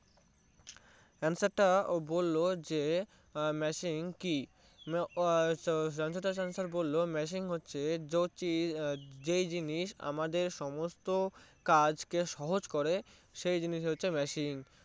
Answer তা ও বললো যে Machine কি রানছর দাস ছাঁচের বললো মেশিন হোসে যে চিজ এর যেই জিনিস আমাদের সমস্ত কাজ কে সহজ করে দিয়ে সেই জিনিস হচ্ছে Machine